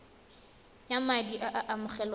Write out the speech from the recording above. ya madi a a amogelwang